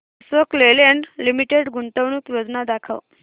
Ashok Leyland limited गुंतवणूक योजना दाखव